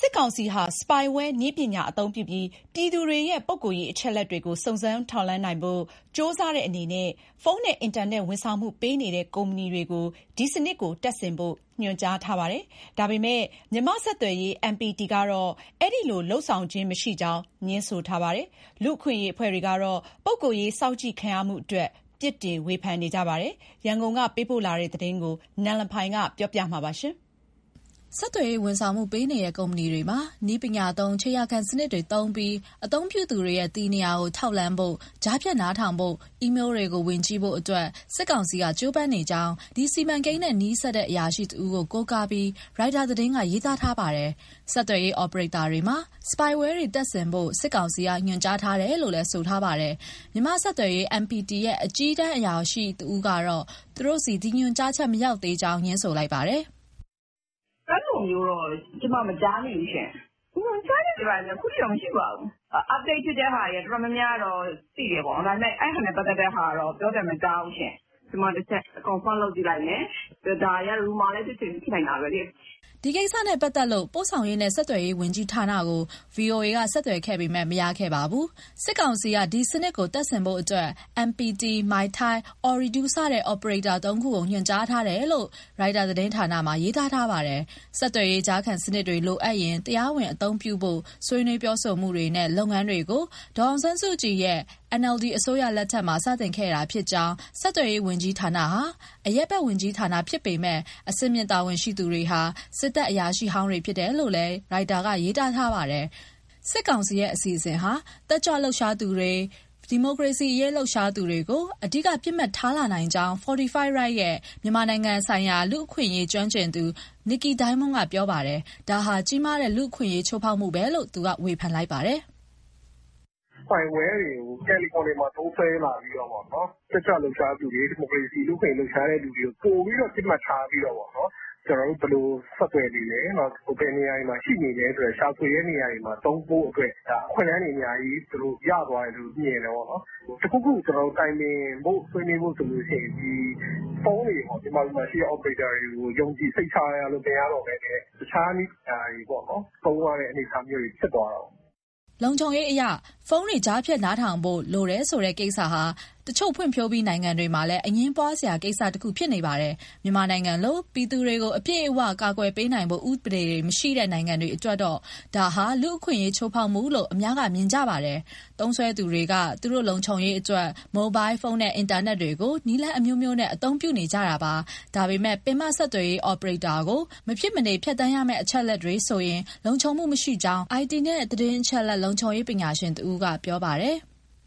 စစ်ကောင်စီဟာ Spyware နည်းပညာအသုံးပြုပြီး ပြည်သူတွေရဲ့ ပုဂ္ဂိုလ်ရေး အချက်အလက်တွေကို စုံစမ်းထောက်လှမ်းနိုင်ဖို့ ကြိုးစားတဲ့အနေနဲ့ ဖုန်းနဲ့အင်တာနက် ဝန်ဆောင်မှုပေးနေတဲ့ ကုမ္ပဏီမှာ ဒီစနစ်ကိုတပ်ဆင်ဖို့ စစ်ကောင်စီဘက်က ညွှန်ကြားထားပါတယ်။ ဒါပေမယ့် မြန်မာ့ဆက်သွယ်ရေး MPT ကတော့ အဲဒီလို လုပ်ဆောင်ခြင်း မရှိကြောင်း ငြင်းဆိုထားပါတယ်။ လူ့အခွင့်အရေး အဖွဲ့တွေကတော့ ပုဂ္ဂိုလ်ရေး စောင့်ကြည့် ခံရမှုအတွက် ပြစ်တင် ဝေဖန်ထားပါတယ်။ ရန်ကုန်က ပေးပို့လာတဲ့ ဒီသတင်းအပြည့်အစုံကိုတော့ နန်လဖိုင်က ပြောပြပေးမှာပါ။ ဆက်သွယ်ရေး ဝန်ဆောင်မှုပေးနေတဲ့ ကုမ္ပဏီတွေမှာ နည်းပညာသုံး ခြေရာခံစနစ်တွေသုံးပြီး အသုံးပြုသူတွေရဲ့ တည်နေရာကို ထောက်လှမ်းဖို့၊ ကြားဖြတ် နားထောင်ဖို့၊ အီးမေးတွေ ဝင်ကြည့်ဖို့အတွက် စစ်ကောင်စီက ကြိုးပမ်းနေကြောင်း ဒီစီမံကိန်းနဲ့နီးစပ်တဲ့ အရာရှိတဦးကို ကိုးကားပြီး ရိုက်တာသတင်းက ရေးသားထားတာပါ။ ဆက်သွယ်ရေး အော်ပရေတာတွေမှာ Spyware တွေတပ်ဆင်ဖို့ စစ်ကောင်စီက ညွှန်ကြားထားတယ်လို့ ဆိုထားတာပါ။ မြန်မာ့ဆက်သွယ်ရေး MPT ရဲ့ အကြီးတန်း အရာရှိတဦးကတော့ သူတို့ဆီ ဒီညွှန်ကြားချက် မရောက်သေးကြောင်း ငြင်းဆိုလိုက်ပါတယ်။ “ အဲလိုမျိုးတော့ ကျမ မကြားမိဘူးရှင့်၊ ညွှန်ကြားချက်တွေ ဘာတွေလည်း အခုအထိတော့ မရှိပါဘူး၊ update ဖြစ်တဲ့ဟာ တော်တော်များများကတော့ သိတယ်ပေါ့နော်၊ ဒါပေမဲ့ အဲဒါနဲ့ ပတ်သက်တဲ့ဟာကတော့ ပြောသံမကြားဘူးရှင့်။ ကျမတချက် confirm လုပ်ကြည့်လိုက်မယ်၊ ဒါတွေက rumours လည်း ဖြစ်ချင် ဖြစ်နိုင်တာပဲလေ။” ဒီကိစ္စနဲ့ပတ်သက်လို့ ပို့ဆောင်ရေးနှင့် ဆက်သွယ်ရေး ဝန်ကြီးဌာနကို ဗွီအိုအေက ဆက်သွယ်ခဲ့ပေမဲ့ မရခဲ့ပါဘူး။ စစ်ကောင်စီက ဒီစနစ်ကို တပ်ဆင်ဖို့အတွက် MPT ၊ Mytel ၊ Ooredoo စတဲ့ အော်ပရေတာ သုံးခုကို ညွှန်ကြားထားတယ်လို့ ရိုက်တာသတင်းဌာနက ရေးသားထားတာပါ။ ဆက်သွယ်ရေးကြားဖြတ်စနစ်တွေလိုအပ်ရင်တရားဝင်အသုံးပြုဘို့ ဆွေးနွေးပြောဆိုမှုနဲ့လုပ်ငန်းတွေကို ဒေါ်အောင်ဆန်းစုကြည်ရဲ့ NLD အစိုးရလက်ထက်မှာစတင်ခဲ့တာဖြစ်ကြောင်း၊ ဆက်သွယ်ရေးဝန်ကြီးဌာနဟာ အရပ်ဖက်ဝန်ကြီးဌါနဖြစ်ပေမဲ့ အဆင်မြင့်တာဝန်ရှိသူတွေဟာ စစ်တပ်အရာရှိဟောင်းတွေဖြစ်တယ်လို့လဲရိုက်တာကရေးထားပါတယ်။ စစ်ကောင်စီရဲ့ အစီအစဉ်ဟာ တက်ကြွလှုပ်ရှားသူတွေ၊ ဒီမိုကရေစီအရေး လှုပ်ရှားသူတွေကို အဓိက ပစ်မှတ်ထားလာနိုင်ကြောင်း Fortify Rights က မြန်မာနိုင်ငံဆိုင်ရာ လူ့အခွင့်အရေး ကျွမ်းကျင်သူ Nickey Diamond က ပြောပါတယ်။ ဒါဟာ ကြီးမားတဲ့ လူ့အခွင့်အရေး ချိုးဖောက်မှုပဲလို့ သူကဝေဖန်လိုက်ပါတယ်။ “ Spyware တွေကို Telecom တွေမှာ သုံးစွဲလာပြီးတော့ပေါ့ တက်ကြွလှုပ်ရှားသူတွေ၊ ဒီမိုကရေစီ လူ့အခွင့်အရေး လှုပ်ရှားသူတွေကို ပိုပြီး ပစ်မှတ်ထားပြီး တော့ပေါ့နော်၊ ကျနော်တို့ ဘယ်လိုဆက်သွယ်နေလဲ၊ ဘယ်နေရာတွေမှာ ရှိနေလဲဆိုတဲ့ ရှာဖွေတဲ့နေရာမှာ သုံးဖို့အတွက် ဒါ အခွင့်အလမ်းတွေ အများကြီး သူတို့ရသွားတယ်လို့ မြင်တယ်ပေါ့။ တခုခု ကျနော်တို့ တိုင်ပင်ဖို့၊ ဆွေးနွေးဖို့ဆိုရင် မြန်မာပြည်မှာရှိတဲ့ ဖုန်းတွေ၊ Operator တွေကို ယုံကြည့်စိတ်ချလို့ မရတော့ဘဲနဲ တခြားနည်ပညာတွေပေါ့ သုံးရတဲ့အနေအထား ဖြစ်သွားတာပေါ့။” လုံခြုံရေးအရ ဖုန်းတွေ ကြားဖြတ်နားထောင်ဖို့ လိုတယ်ဆိုတဲ့ကိစ္စဟာ တချို့ ဖွံ့ဖြိုးပြီး နိုင်ငံတွေမှာလည်း အငြင်းပွားစရာ ကိစ္စတခုဖြစ်နေပါတယ်။ မြန်မာနိုင်ငံလို ပြည်သူကို အပြည့်အဝအကာကွယ် ပေးနိုင်တဲ့ဥပဒေတွေ မရှိတဲ့ နိုင်ငံအတွက်တော့ ဒါဟာ လူ့အခွင့်အရေး ချိုးဖောက်မှုလို့ အများစုက မြင်ကြတာပါ။ သုံးစွဲသူတွေက သူတို့လုံခြုံရေးအတွက် မိုဘိုင်းဖုန်းနဲ့ အင်တာနက်ကို နည်းလမ်းအမျိုးမျိုးနဲ့ အသုံးပြုကြတာပါ။ ဒါပေမဲ့ ပင်မဆက်သွယ်ရေး အော်ပရေတာကို မဖြစ်မနေ ဖြတ်သန်းရမယ့် အချက်အလက်တွေ ဆိုရင်တော့ လုံခြုံမှုမရှိကြောင်း အိုင်တီနှင့် သတင်းအချက်အလက် လုံခြုံရေးပညာရှင် တဦးက ပြောပါတယ်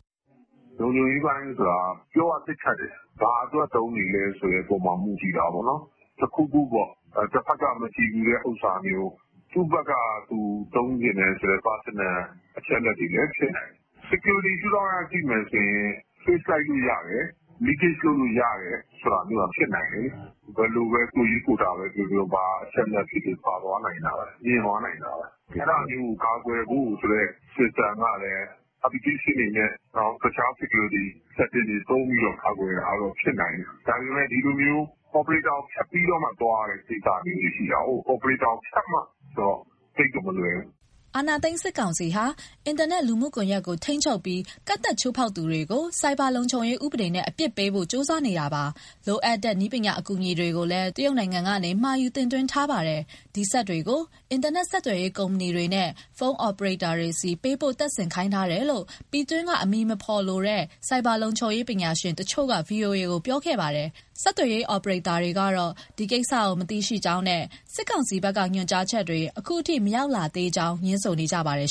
။ “ လုံခြုံရေးပိုင်းဆိုတာက ပြောရသိပ်ခက်တယ်၊ ဘာအတွက် သုံးနေလဲဆိုတဲ့ အပေါ်မှာ မူတည်တာပေါ့။ တခုခုပေါ့ တဖက်က မကြည်ဖြူတဲ့ ဥစ္စာမျိုး၊ သူ့ဖက်ကသူ သုံးချင်တယ်ဆိုတဲ့ personal အချက်အလက်တွေလည်း ဖြစ်နိုင်တယ်။ security ရှုထောင့်က ကြည့်မယ်ဆိုရင် trace လိုက်လို့ရတယ်၊ leakage လုပ်လို့ရတယ် ဆိုတာမျိုးက ဖြစ်နိုင်တယ်။ ဘယ်လို ကိုယ်ရေးကိုယ်တာပဲပြောပြော ဘာအချက်အလက်ဖြစ်ဖြစ် ပါသွားနိုင်တာပဲ၊ မြင်သွားနိုင်တာပဲ။ အဲဒါမျိုးကို ကာကွယ်ဖို့ဆိုတဲ့ system ကလည်း application တွေနဲ့ တခြား security setting တွေသုံးပြီးတော့ ကာကွယ်တာကတော့ ဖြစ်နိုင်တယ်၊ ဒါပေမဲ့ ဒီလိုမျိုး အော်ပရေတာကို ဖြတ်ပြီးတော့မှ သွားရတဲ့ ကိစ္စမျိုးတွေ ရှိတာကိုး။ Operator ကိုဖြတ်မှဆိုတော့ သိပ်တော့မလွယ်ဘူး။” အာဏာသိမ်း စစ်ကောင်စီဟာ အင်တာနက် လူမှုကွန်ရက်တွေကို ထိန်းချုပ်ပြီး ကန့်သတ်ချိုးဖောက်တဲ့သူတွေကို ဆိုက်ဘာလုံခြုံရေး ဥပဒေနဲ့ ပြစ်ဒဏ်ပေးဖို့ ကြိုးစားနေတာပါ။ လိုအပ်တဲ့ နည်းပညာ အကူအညီတွေကိုလည်း တရုတ်နိုင်ငံကနေ မှာယူတင်သွင်းထားပါတယ်။ ဒီစက်တွေကို အင်တာနက် ဆက်သွယ်ရေး ကုမ္ပဏီတွေနဲ့ ဖုန်းအော်ပရေတာတွေဆီ ပေးပို့တပ်ဆင်ခိုင်းထားတယ်လို့ ပြည်တွင်းက အမည်မဖော်လိုတဲ့ ဆိုက်ဘာလုံခြုံရေးပညာရှင်တချို့က ဗွီအိုအေကို ပြောခဲ့ပါတယ်။ ဆက်သွယ်ရေး အော်ပရေတာတွေကတော့ ဒီကိစ္စကို မသိရှိသေးကြောင်းနဲ့ စစ်ကောင်စီဘက်က ညွှန်ကြားချက်တွေ အခုထိ မရောက်လာသေးကြောင်း ငြင်းဆိုနေကြပါတယ်